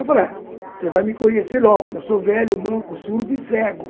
Eu falei ah, você vai me conhecer logo, porque eu sou velho, manco, surdo e cego.